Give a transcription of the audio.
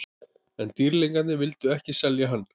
En Dýrlingarnir vildu ekki selja hann.